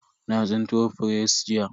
Na tsinko fure jiya.